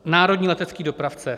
Národní letecký dopravce.